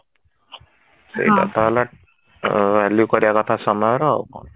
ସେଇକଥା ହେଲା ଅ value କରିବା କଥା ସମୟର ଆଉ କଣ